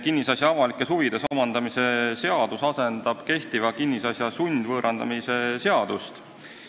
Kinnisasja avalikes huvides omandamise seadus asendab kehtiva kinnisasja sundvõõrandamise seadust.